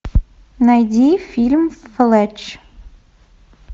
найди фильм флетч